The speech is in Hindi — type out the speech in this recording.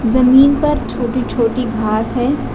जमीन पर छोटी छोटी घास है।